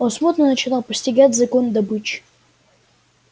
он смутно начинал постигать закон добычи